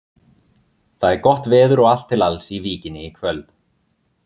Það er gott veður og allt til alls í Víkinni í kvöld.